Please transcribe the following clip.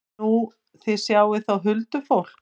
Nú, þið sjáið þá huldufólk?